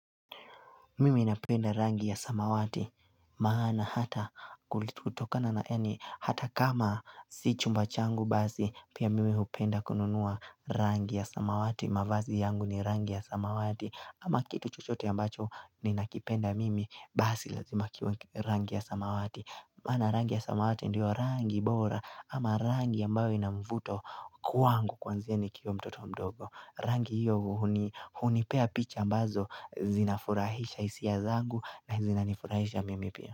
Mimi ninapenda rangi ya samawati maana hata kutokana na yaani hata kama sio chumba changu basi pia mimi hupenda kununua rangi ya samawati mavazi yangu ni rangi ya samawati ama kitu chuchote ambacho ninakipenda mimi basi lazima kiwe rangi ya samawati. Maana rangi ya samawati ndio rangi bora ama rangi ambayo ina mvuto kwangu kuanzia nikiwa mtoto mdogo. Rangi hiyo hunipea picha ambazo zinafurahisha hisia zangu na zinanifurahisha mimi pia.